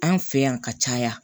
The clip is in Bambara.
An fɛ yan ka caya